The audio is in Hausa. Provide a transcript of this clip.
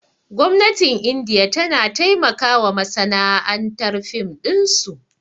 Gwamnatin indiya tana taimakawa masana'antar fim ɗinsu